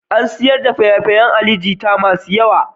An sayar da faye-fayan Ali Jita masu yawa.